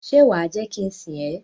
Ṣe wa je ki n sìn ẹ?